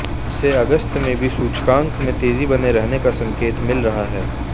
इससे अगस्त में भी सूचकांक में तेजी बने रहने का संकेत मिल रहा है